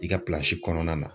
I ka pilanzi kɔnɔna na